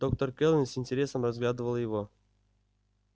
доктор кэлвин с интересом разглядывала его